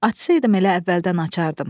Açsaydım elə əvvəldən açardım.